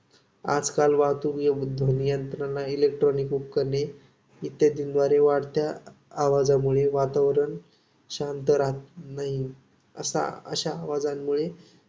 आजकाल वाहूतक, ध्वनियंत्रणा आणि इलेक्ट्रॉनिक उपकरणे इत्यांदीद्वारे वाढत्या आवाजामुळे वातावरण शांत राहात नाही. असाअशा आवाजांमुळे